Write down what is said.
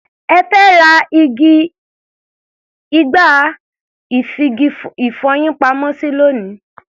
Ẹ fẹ́ ra igbá-ìfigi-ìfọyín-pamọ́-sí lónìí.